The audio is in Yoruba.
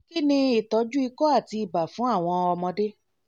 kí ni ìtọ́jú ikọ́ àti ibà fún àwọn ọmọdé?